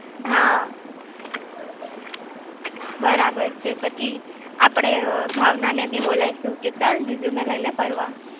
હા બરાબર છે પછી આપડે ભાવના ને બી બોલાઈ શું ચલ જીજૂ ને લઇ લે ફરવા